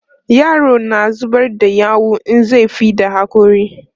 yaro na zubar da yawu in zai fidda hakori